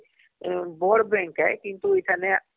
ବଡ଼ bank କେ କିନ୍ତୁ ଏଖନେ